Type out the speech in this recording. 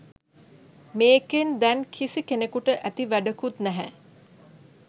මේකෙන් දැන් කිසි කෙනෙකුට ඇති වැඩකුත් නැහැ.